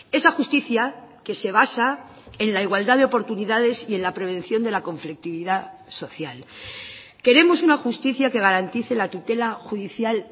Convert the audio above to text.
esa justicia que se basa en la igualdad de oportunidades y en la prevención de la conflictividad social queremos una justicia que garantice la tutela judicial